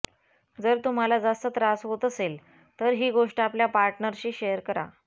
जर तुम्हाला जास्त त्रास होत असेल तर ही गोष्ट आपल्या पार्टनरशी शेअर करा